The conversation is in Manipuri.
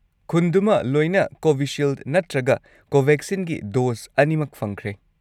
ꯈꯨꯟꯗꯨꯃ ꯂꯣꯏꯅ ꯀꯣꯚꯤꯁꯤꯜꯗ ꯅꯠꯇꯔꯒ ꯀꯣꯚꯦꯛꯁꯤꯟꯒꯤ ꯗꯣꯁ ꯑꯅꯤꯃꯛ ꯐꯪꯈ꯭ꯔꯦ꯫